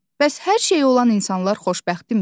Bəs hər şeyi olan insanlar xoşbəxtdimi?